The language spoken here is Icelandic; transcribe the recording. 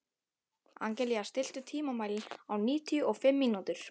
Angelína, stilltu tímamælinn á níutíu og fimm mínútur.